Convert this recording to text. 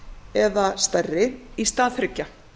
eða stærri í stað þriggja